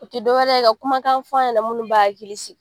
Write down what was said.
O ti dɔwɛrɛ ye, ka kumakan fɔ a ɲana munnu b'a hakili sigi.